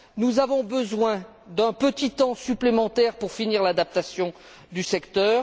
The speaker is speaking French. Nous avons besoin d'un petit temps supplémentaire pour finir l'adaptation du secteur.